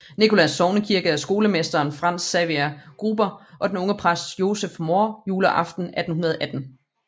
Nicholas sognekirke af skolemesteren Franz Xaver Gruber og den unge præst Joseph Mohr juleaften 1818